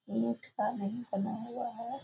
बना हुआ है।